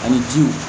Ani ji